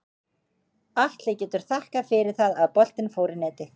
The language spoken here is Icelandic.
Atli getur þakkað fyrir það að boltinn fór í netið.